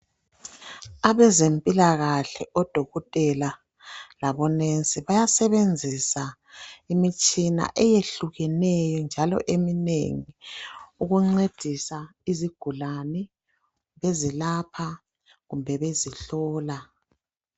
Abezempilakahle odokotela labonesi bayasebenzisa imitshina eyehlukeneyo njalo eminengi ukuncedisa izigulane bezilapha kumbe bezihlola.